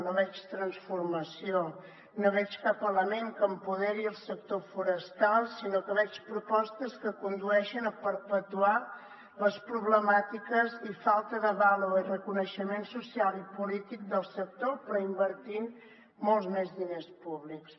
no hi veig transformació no hi veig cap element que empoderi el sector forestal sinó que veig propostes que condueixen a perpetuar les problemàtiques i falta de vàlua i reconeixement social i polític del sector però invertint molts més diners públics